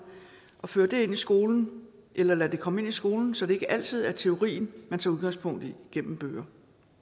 føre det ind i skolen eller lade det komme ind i skolen så det ikke altid er teorien man tager udgangspunkt i gennem bøger